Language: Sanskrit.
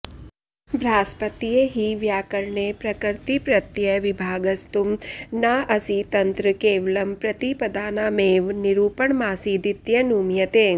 बार्हस्पत्ये हि व्याकरणे प्रकृतिप्रत्ययविभागस्तुं नाऽऽसीतंत्र केवलं प्रतिपदानामेव निरूपणमासीदित्यनुमीयते